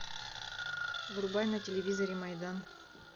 врубай на телевизоре майдан